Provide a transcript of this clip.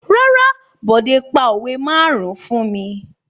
Rárá, Bọ̀dé pa òwe márùn-ún fún mi.